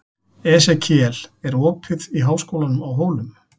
Esekíel, er opið í Háskólanum á Hólum?